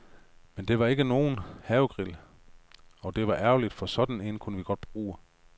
Men det var ikke nogen havegrill, og det var ærgerligt, for sådan en kunne vi godt bruge.